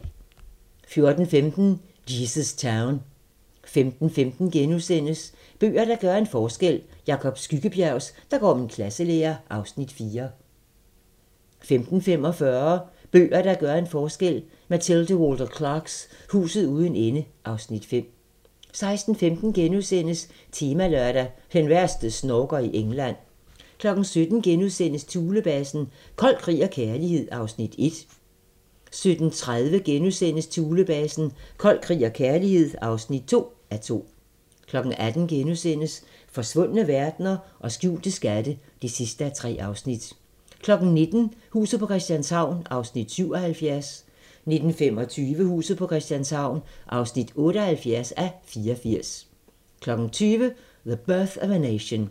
14:15: Jesus Town 15:15: Bøger, der gør en forskel: Jacob Skyggebjergs "Der går min klasselærer" (Afs. 4)* 15:45: Bøger, der gør en forskel: Mathilde Walter Clarks "Huset uden ende" (Afs. 5) 16:15: Temalørdag: Den værste snorker i England * 17:00: Thulebasen - kold krig og kærlighed (1:2)* 17:30: Thulebasen - Kold krig og kærlighed (2:2)* 18:00: Forsvundne verdener og skjulte skatte (3:3)* 19:00: Huset på Christianshavn (77:84) 19:25: Huset på Christianshavn (78:84) 20:00: The Birth of a Nation